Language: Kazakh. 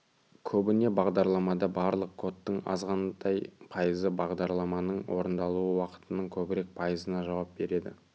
көбіне бағдарламада барлық кодтың азғантай пайызы бағдарламаның орындалу уақытының көбірек пайызына жауап береді